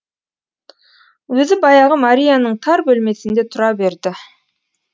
өзі баяғы марияның тар бөлмесінде тұра берді